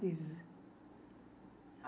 Diz.